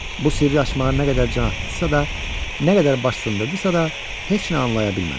Bu sirri açmağa nə qədər can atdısa da, nə qədər baş sındırdısa da, heç nə anlaya bilmədi.